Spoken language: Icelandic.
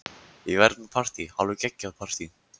Ég verð með partí, alveg geggjað partí.